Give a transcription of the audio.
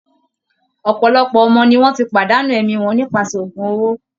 Òpòlopò ọmọ ni wọ́n ti pàdánù ẹ̀mí wọn nípasẹ̀ ògún owó